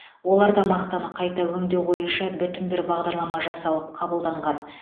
оларда мақтаны қайта өңдеу бойынша бүтін бір бағдарлама жасалып қабылданған